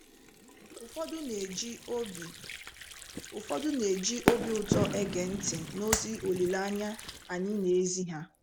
Ụfọdụ n'eji obi Ụfọdụ n'eji obi ụtọ ege ntị n’ozi olileanya anyị n'ezi ha.